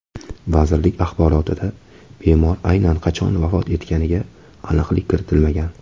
Vazirlik axborotida bemor aynan qachon vafot etganiga aniqlik kiritilmagan.